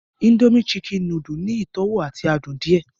Indomie Chicken nùdù ni ìtọwo ati adun àdiẹ́